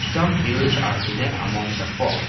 some hills are hidden among the fog.